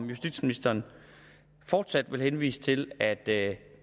justitsministeren fortsat henvise til at det